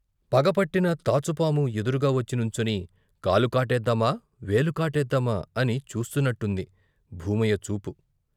పగపట్టిన తాచుపాము ఎదురుగా వచ్చి నుంచుని, కాలు కాటేద్దామా, వేలు కాటేద్దామా అని చూస్తున్నట్టుంది, భూమయ్య చూపు.